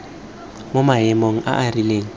mo maemong a a rileng